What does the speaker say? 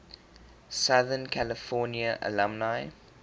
southern california alumni